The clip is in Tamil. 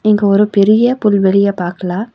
இங்க ஒரு பெரிய புள்வெளிய பாக்கலா.